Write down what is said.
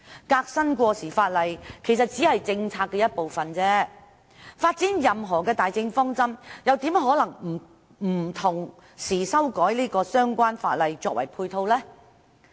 革新過時法例其實只是政策的一部分，要發展任何大政策方針，怎可能不同時修訂相關法例作為配套？